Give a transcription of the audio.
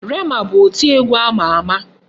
Rema bụ oti egwu ama ama.